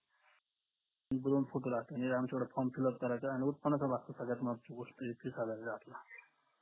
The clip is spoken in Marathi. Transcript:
form fill up करायचंय आणि उत्पन्नाचा दाखला सगळ्यात महत्वाची गोष्ट